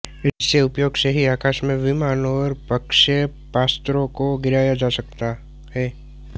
इसके प्रयोग से आकाश में ही विमान और प्रक्षेपास्त्रों को गिराया जा सकता है